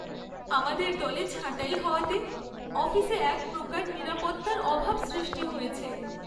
আমাদের দলে ছাঁটাই হওয়াতে অফিসে এক প্রকার নিরাপত্তার অভাব সৃষ্টি হয়েছে।